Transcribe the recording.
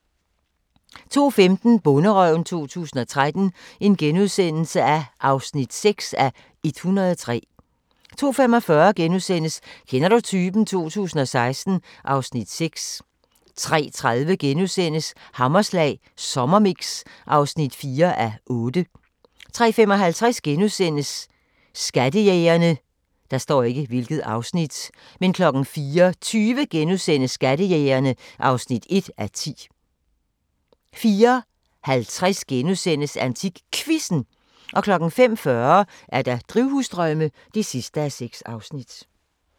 02:15: Bonderøven 2013 (6:103)* 02:45: Kender du typen? 2016 (Afs. 6)* 03:30: Hammerslag Sommermix (4:8)* 03:55: Skattejægerne * 04:20: Skattejægerne (1:10)* 04:50: AntikQuizzen * 05:40: Drivhusdrømme (6:6)